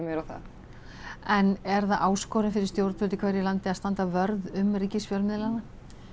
á það en er það áskorun fyrir stjórnvöld í hverju landi að standa vörð um ríkisfjölmiðlana